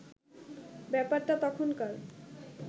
ব্যাপারটা তখনকার